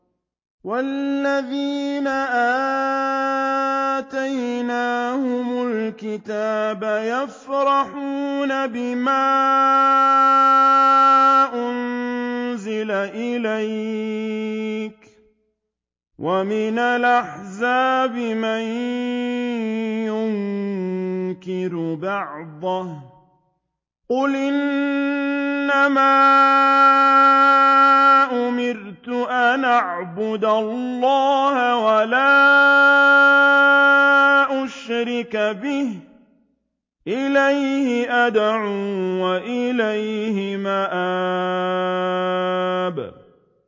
وَالَّذِينَ آتَيْنَاهُمُ الْكِتَابَ يَفْرَحُونَ بِمَا أُنزِلَ إِلَيْكَ ۖ وَمِنَ الْأَحْزَابِ مَن يُنكِرُ بَعْضَهُ ۚ قُلْ إِنَّمَا أُمِرْتُ أَنْ أَعْبُدَ اللَّهَ وَلَا أُشْرِكَ بِهِ ۚ إِلَيْهِ أَدْعُو وَإِلَيْهِ مَآبِ